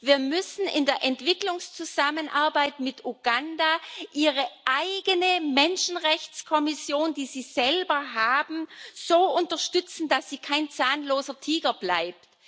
Wir müssen in der Entwicklungszusammenarbeit mit Uganda die eigene Menschenrechtskommission des Landes so unterstützen, dass sie kein zahnloser Tiger bleibt.